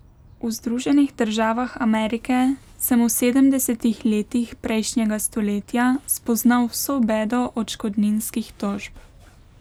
V Združenih državah Amerike sem v sedemdesetih letih prejšnjega stoletja spoznal vso bedo odškodninskih tožb.